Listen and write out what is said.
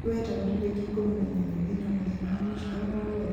mweri wa ĩtano tarĩki ikũmi na inyanya wĩ na mũthenya wa gũciarwo o wothe